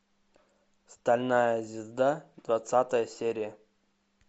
стальная звезда двадцатая серия